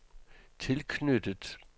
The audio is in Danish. tilknyttet